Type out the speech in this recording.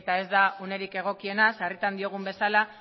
eta ez da unerik egokiena sarritan diogun bezala